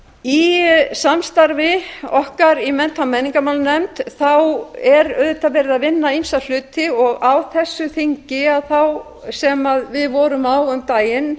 í samstarfi okkar í mennta og menningarmálanefnd er verið að vinna ýmsa hluti og á þessu þingi sem við vorum